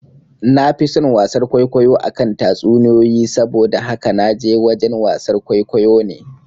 Nafi son wasar kwaikwayo akan tatsuniyoyi, saboda haka naje wajen wasar kwaikwayo ne